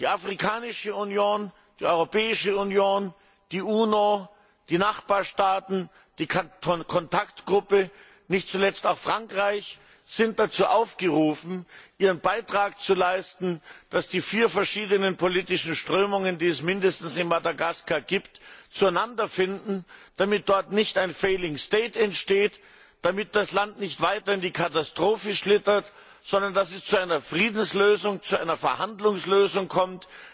Die Afrikanische Union, die Europäische Union, die UNO, die Nachbarstaaten, die Kontaktgruppe, nicht zuletzt auch Frankreich, sind dazu aufgerufen, ihren Beitrag zu leisten, dass die vier verschiedenen politischen Strömungen, die es mindestens in Madagaskar gibt, zueinander finden, damit dort nicht ein failing state entsteht, damit das Land nicht weiter in die Katastrophe schlittert, sondern dass es zu einer Friedenslösung, zu einer Verhandlungslösung kommt.